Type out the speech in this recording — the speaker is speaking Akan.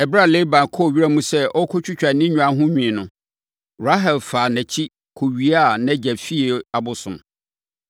Ɛberɛ a Laban kɔɔ wiram sɛ ɔrekɔtwitwa ne nnwan ho nwi no, Rahel faa nʼakyi kɔwiaa nʼagya fie abosom.